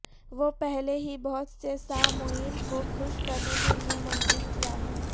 وہ پہلے ہی بہت سے سامعین کو خوش کرنے کے لئے منظم کیا ہے